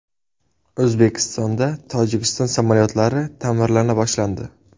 O‘zbekistonda Tojikiston samolyotlari ta’mirlana boshlandi.